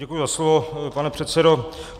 Děkuji za slovo, pane předsedo.